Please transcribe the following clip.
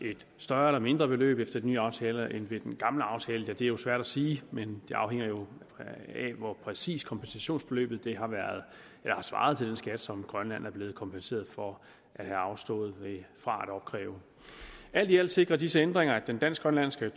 et større eller mindre beløb efter den nye aftale end ved den gamle aftale er jo svært at sige men det afhænger jo af hvor præcis kompensationsbeløbet har svaret til den skat som grønland er blevet kompenseret for at have afstået fra at opkræve alt i alt sikrer disse ændringer at den dansk grønlandske